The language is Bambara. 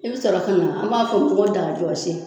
I bɛ sɔrɔ kana an b'a f'o ko dajɔsi